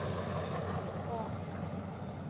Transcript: Já, ok.